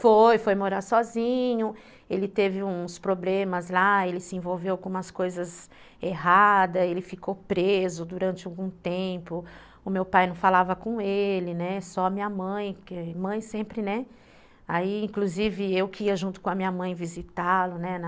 Foi, foi morar sozinho, ele teve uns problemas lá, ele se envolveu com umas coisas erradas, ele ficou preso durante algum tempo, o meu pai não falava com ele, né, só a minha mãe, porque mãe sempre, né, aí inclusive eu que ia junto com a minha mãe visitá-lo, né, na...